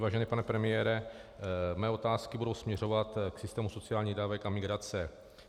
Vážený pane premiére, mé otázky budou směřovat k systému sociálních dávek a migrace.